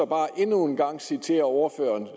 bare endnu en gang citere ordføreren